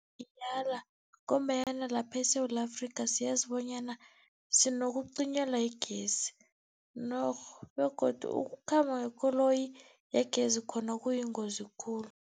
Ngiyala ngombanyana lapha eSewula Afrikha, siyazi bonyana sinokucinyelwa yigezi norh begodu ukukhamba ngekoloyi yegezi khona kuyingozi khulu.